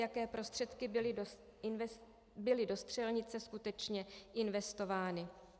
Jaké prostředky byly do střelnice skutečně investovány?